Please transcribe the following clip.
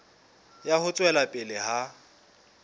ya ho tswela pele ha